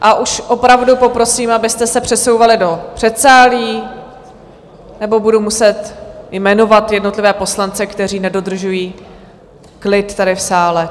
A už opravdu poprosím, abyste se přesouvali do předsálí, nebo budu muset jmenovat jednotlivé poslance, kteří nedodržují klid tady v sále.